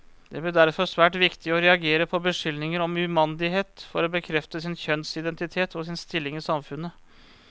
Det ble derfor svært viktig å reagere på beskyldninger om umandighet for å bekrefte sin kjønnsidentitet, og sin stilling i samfunnet.